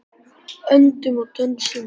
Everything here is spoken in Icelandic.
Öndum og dönsum.